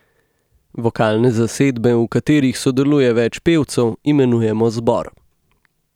Vokalne zasedbe, v katerih sodeluje več pevcev, imenujemo zbor.